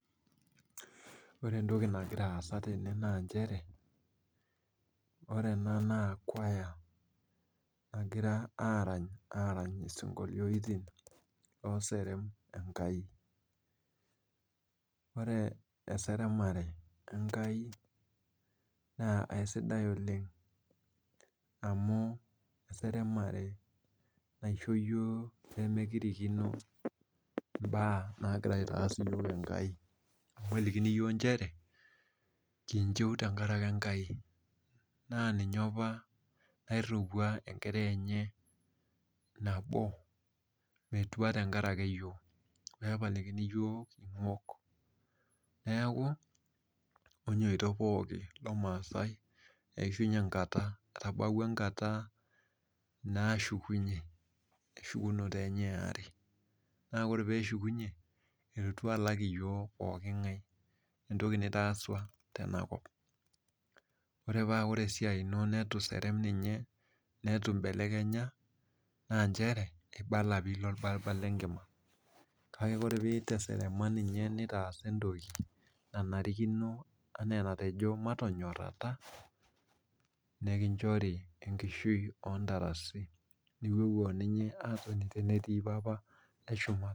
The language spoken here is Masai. Ore entoki nagira aasa tene na nchere ore ena na kuaya nagira nagira arany arany sinkolioni loserem enkai, ore eseremare enkae na aisidai oleng amu eseremare naisho yiok pemekirikino mbaa nagira aitaas yiok enkai amu kelikini yiok nchere kinchu tenkaraki enkai na ninye apa oiriwaua enkerai enye nabo metua tenkaraki yiok pepalikini yiok ingok neaku enyito pooki lomaasai etabawua enkata nashukunye eshukunye enyebeare na ore pishukunye elotu alak yiok pooki ngae ewoi nitaasa tenakop ore esiai ino nituserem ninye netu imbelekenya kibala pilo orparbal lenkima kake ore piteserema ninye nitaasa na enkinchori enkishui ontarasi .